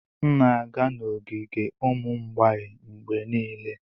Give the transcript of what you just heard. M na-aga n'ogige ụmụ mgbei mgbe niile.